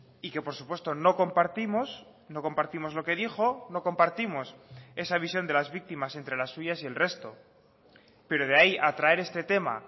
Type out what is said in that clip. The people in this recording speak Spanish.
y que por supuesto no compartimos no compartimos lo que dijo no compartimos esa visión de las víctimas entre las suyas y el resto pero de ahí a traer este tema